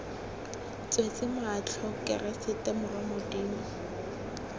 tswetse matlho keresete morwa modimo